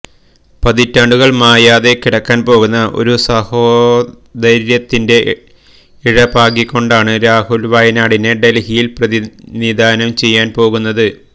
പതിറ്റാണ്ടുകൾ മായാതെ കിടക്കാൻ പോകുന്ന ഒരു സാഹോദര്യത്തിന്റെ ഇഴപാകിക്കൊണ്ടാണ് രാഹുൽ വയനാടിനെ ഡൽഹിയിൽ പ്രതിനിധാനം ചെയ്യാൻ പോകുന്നത്